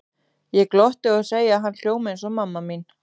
Ég glotti og segi að hann hljómi eins og mamma mín.